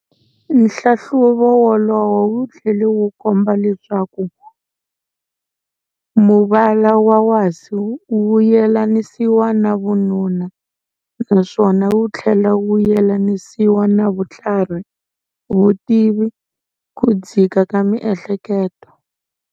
Nhlahluvo wolowo wu thlele wu komba leswaku muvala wa wasi wu yelanisiwa na vununa, naswona wu thlela wu yelanisiwa na vuthlarhi, vutivi, ku dzika ka mi ehleketo.